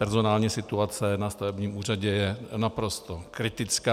Personální situace na stavebním úřadě je naprosto kritická.